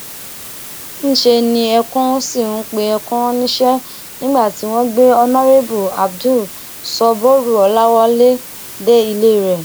níṣẹ ni ẹkùn sì ń pe ẹkùn rán níṣẹ nígbà tí wọn gbé honorébù abdul sọbúrú ọláwálẹ dé ilé rẹ